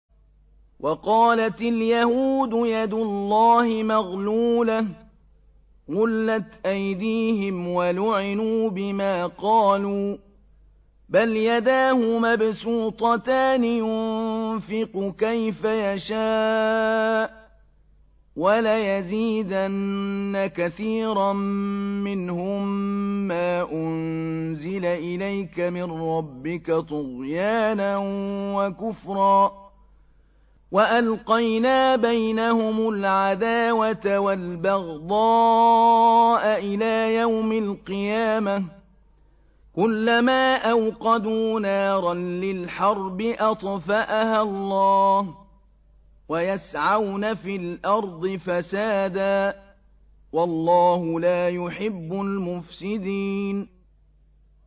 وَقَالَتِ الْيَهُودُ يَدُ اللَّهِ مَغْلُولَةٌ ۚ غُلَّتْ أَيْدِيهِمْ وَلُعِنُوا بِمَا قَالُوا ۘ بَلْ يَدَاهُ مَبْسُوطَتَانِ يُنفِقُ كَيْفَ يَشَاءُ ۚ وَلَيَزِيدَنَّ كَثِيرًا مِّنْهُم مَّا أُنزِلَ إِلَيْكَ مِن رَّبِّكَ طُغْيَانًا وَكُفْرًا ۚ وَأَلْقَيْنَا بَيْنَهُمُ الْعَدَاوَةَ وَالْبَغْضَاءَ إِلَىٰ يَوْمِ الْقِيَامَةِ ۚ كُلَّمَا أَوْقَدُوا نَارًا لِّلْحَرْبِ أَطْفَأَهَا اللَّهُ ۚ وَيَسْعَوْنَ فِي الْأَرْضِ فَسَادًا ۚ وَاللَّهُ لَا يُحِبُّ الْمُفْسِدِينَ